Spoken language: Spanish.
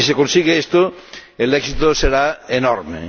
Si se consigue esto, el éxito será enorme.